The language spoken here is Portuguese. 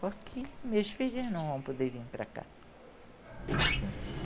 Porque meus filhos não vão poder vim para cá, assim